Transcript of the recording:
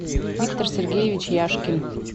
виктор сергеевич яшкин